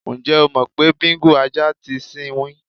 Ǹjé̩ o mò̩ pé Bíngò (ajá) ti sinwín?